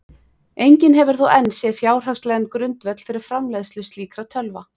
Enginn hefur þó enn séð fjárhagslegan grundvöll fyrir framleiðslu slíkra tölva.